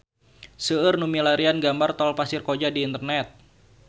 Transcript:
Seueur nu milarian gambar Tol Pasir Koja di internet